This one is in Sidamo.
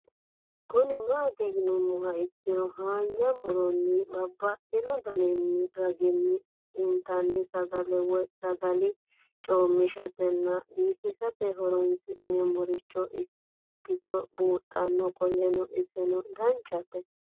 Kuni mati yinumoha ikiro hanja muroni babaxino daninina ragini intani sagale woyi sagali comishatenna bifisate horonsine'morich ikinota bunxana qoleno iseno danchate